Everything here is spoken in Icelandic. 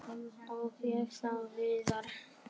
Og ég sá Viðar.